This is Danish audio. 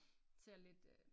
Ser lidt øh